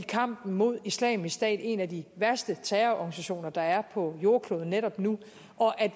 kamp mod islamisk stat en af de værste terrororganisationer der er på jordkloden netop nu og at